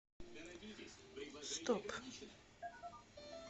стоп